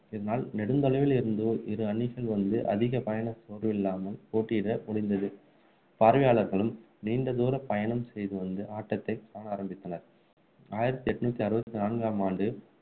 இதனால் நெடுந்தொலைவில் இருந்து இரு அணிகள் வந்து அதிக பயண சோர்வு இல்லாமல் போட்டியிட முடிந்தது பார்வையாளர்களும் நீண்ட தூர பயணம் செய்து வந்து ஆட்டத்தை காண ஆரம்பித்தனர் ஆயிரத்து எண்ணூற்று அறுபத்து நான்காம் ஆண்டு